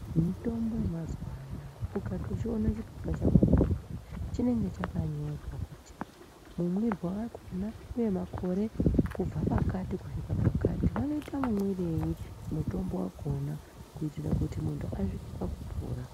Mitombo yemazuva anoaya ukatochiona chioepa chakona chinenge chakatinyorwa kuti mumwirwe wakona uye makore kubva pakati kusvikira pakati vanoita mumwirei mutombo wakona kuitira kuti muntu asvike pakupora.